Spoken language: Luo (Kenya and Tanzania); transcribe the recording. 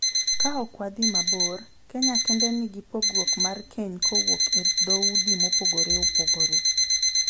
Ka ok wadhi mabor, Kenya kende nigi pogruok mar keny kowuok e dhoudi mopogore opogore.